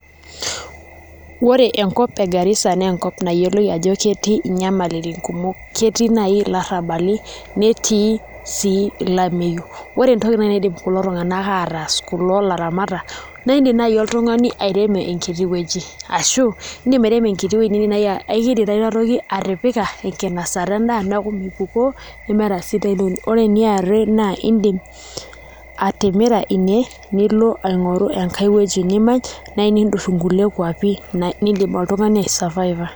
Ore enkop e Garissa naa enkop nayioloi ajo ketii nyamalitin kumok, ketii naai ilarrabali netii sii olameyu, ore entoki naidim kulo tung'anak ataas kulo aramatak naa kiidim naai oltung'ani airemo enkiti weuji ashu iindim airemo enkiti wueji naai indima atipika enkinasata endaa neeku mipukoo, ore eniare naa iindim atimira ine nilo aing'oru enkae wueji nimany naa niindurr nkulie kuapik naai niidim oltung'ani aisurviva.